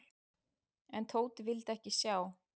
En Tóti vildi ekki sjá.